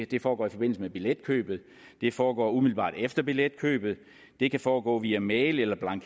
det foregår i forbindelse med billetkøbet det foregår umiddelbart efter billetkøbet det kan foregå via mail eller